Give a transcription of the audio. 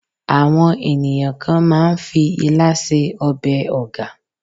àwọn ènìyàn kàn ma n fi ila se obe oga